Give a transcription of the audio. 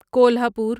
Kolhapur